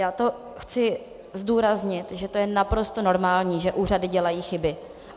Já to chci zdůraznit, že to je naprosto normální, že úřady dělají chyby.